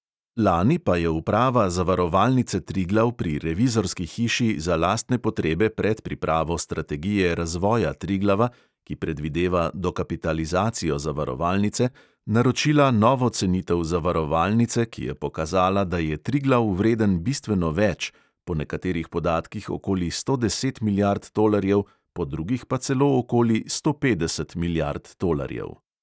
Lani pa je uprava zavarovalnice triglav pri revizorski hiši za lastne potrebe pred pripravo strategije razvoja triglava, ki predvideva dokapitalizacijo zavarovalnice, naročila novo cenitev zavarovalnice, ki je pokazala, da je triglav vreden bistveno več, po nekaterih podatkih okoli sto deset milijard tolarjev, po drugih pa celo okoli sto petdeset milijard tolarjev.